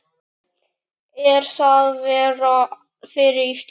Er það verra fyrir Ísland?